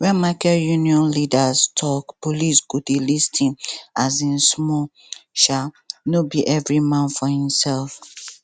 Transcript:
when market union leaders talk police go dey lis ten um small um no be every man for himself